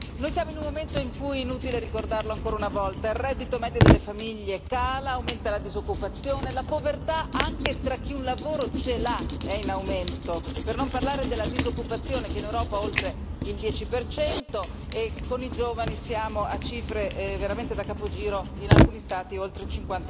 Noi siamo in un momento in cui, è inutile ricordarlo ancora una volta, il reddito medio delle famiglie cala, aumenta la disoccupazione, la povertà anche tra chi un lavoro ce l'ha è in aumento, per non parlare della disoccupazione che in Europa è oltre il 10 e con i giovani siamo a cifre veramente da capogiro, in alcuni Stati è oltre il